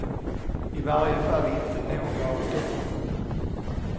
I varje fall inte några av dem.